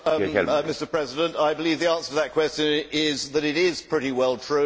Mr President, yes, I believe the answer to that question is that it is pretty well true.